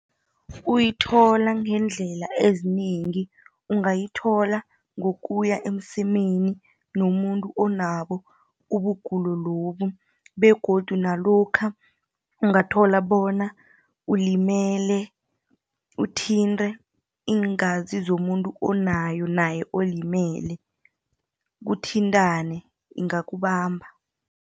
Uyithola ngeendlela eziningi ungayithola ngokuya emsemeni nomuntu onabo ubugulo lobu, begodu nalokha ungathola bona ulimele, uthintre iingazi zomuntu onayo naye olimele, kuthintrane ingakubamba.